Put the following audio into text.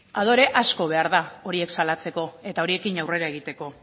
adore asko behar da horiek salatzeko eta horiekin aurrera egiteko